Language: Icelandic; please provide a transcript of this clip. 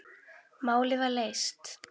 Málið var leyst.